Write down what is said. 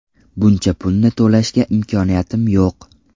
Buncha pulni to‘lashga imkoniyatimiz yo‘q.